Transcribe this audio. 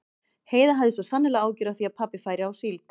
Heiða hafði svo sannarlega áhyggjur af því að pabbi færi á síld.